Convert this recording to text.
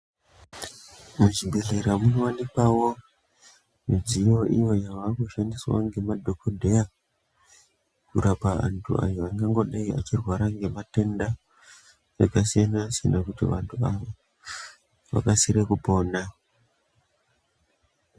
Muchibhehleya makuwanikwawo mudziyo iyo yavakushandiswa nemadhokodheya kurapa avo vantu vangangodai vachirwara nematenda akasiyana siyana kuti vantu vakasire kupona.